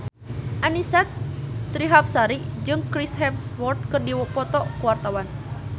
Annisa Trihapsari jeung Chris Hemsworth keur dipoto ku wartawan